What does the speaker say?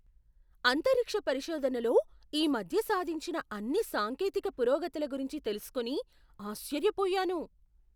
అంతరిక్ష పరిశోధనలో ఈ మధ్య సాధించిన అన్ని సాంకేతిక పురోగతుల గురించి తెలుసుకుని ఆశ్చర్యపోయాను.